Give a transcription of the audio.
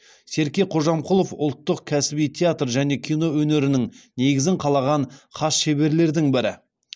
серке кожамқұлов ұлттық кәсіби театр және кино өнерінің негізін қалаған хас шеберлердің бірі